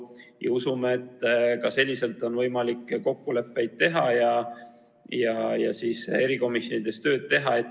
Me usume, et ka sellisel juhul on võimalik kokkuleppeid sõlmida ja erikomisjonides tööd teha.